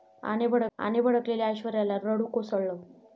...आणि भडकलेल्या ऐश्वर्याला रडू कोसळलं